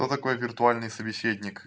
кто такой виртуальный собеседник